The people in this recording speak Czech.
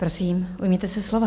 Prosím, ujměte se slova.